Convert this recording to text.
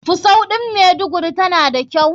Fusau ɗin maiduguri tana da kyau.